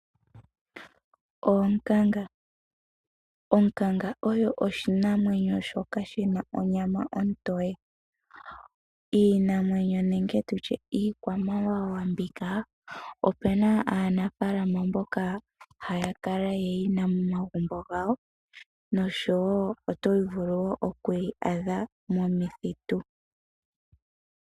Onkanga oyo oshinamwenyo shoka shina onyama ontoye, iinamwenyo nenge tutye iikwamawawa mbika, opuna aanafaalama mboka haya kala ye yina momagumbo gawo nosho wo oto vulu wo okuyi adha momithitu.